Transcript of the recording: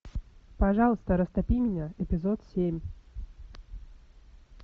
пожалуйста растопи меня эпизод семь